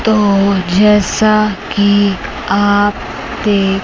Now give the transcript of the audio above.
तो जैसा कि आप देख--